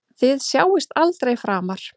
Þið sjáist aldrei framar.